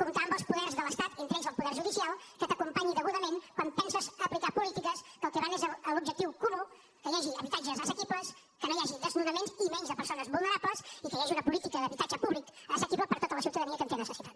comptar amb els poders de l’estat entre ells el poder judicial que t’acompanyi degudament quan penses aplicar polítiques que el que van és a l’objectiu comú que hi hagi habitatges assequibles que no hi hagi desnonaments i menys de persones vulnerables i que hi hagi una política d’habitatge públic assequible per a tota la ciutadania que en té necessitat